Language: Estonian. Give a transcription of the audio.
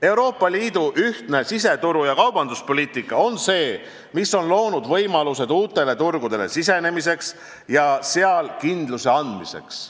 Euroopa Liidu ühtne siseturu- ja kaubanduspoliitika on loonud võimalused uutele turgudele sisenemiseks ja seal kindluse andmiseks.